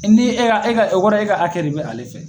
ni e y'a o kɔrɔ ye e ka hakɛ de bɛ ale fɛ.